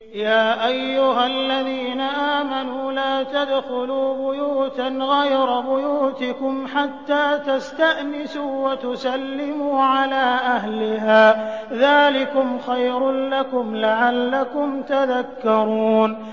يَا أَيُّهَا الَّذِينَ آمَنُوا لَا تَدْخُلُوا بُيُوتًا غَيْرَ بُيُوتِكُمْ حَتَّىٰ تَسْتَأْنِسُوا وَتُسَلِّمُوا عَلَىٰ أَهْلِهَا ۚ ذَٰلِكُمْ خَيْرٌ لَّكُمْ لَعَلَّكُمْ تَذَكَّرُونَ